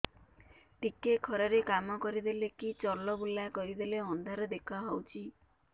ଟିକେ ଖରା ରେ କାମ କରିଦେଲେ କି ଚଲବୁଲା କରିଦେଲେ ଅନ୍ଧାର ଦେଖା ହଉଚି